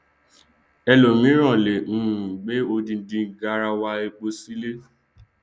ẹlòmíràn lè um gbé odindi garawa epo sílé